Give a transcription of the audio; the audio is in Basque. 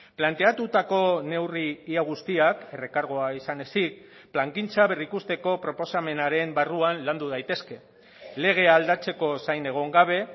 planteatutako neurri ia guztiak errekargoa izan ezik plangintza berrikusteko proposamenaren barruan landu daitezke legea aldatzeko zain egon gabe